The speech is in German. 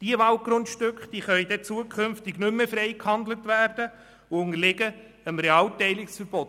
Diese Waldgrundstücke könnten künftig nicht mehr frei gehandelt werden und unterlägen dem Realteilungsverbot.